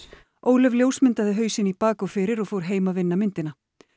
Ólöf ljósmyndaði hausinn í bak og fyrir og fór heim að vinna myndina